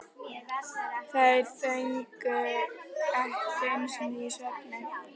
Þær þögnuðu ekki einu sinni í svefni.